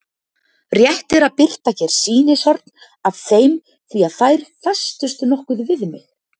Rétt er að birta hér sýnishorn af þeim því að þær festust nokkuð við mig.